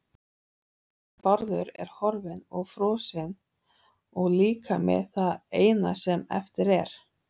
Bárður er horfinn og frosinn líkami það eina sem eftir er.